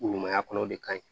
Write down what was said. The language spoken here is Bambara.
Ɲumanya kɔnɔ o de ka ɲi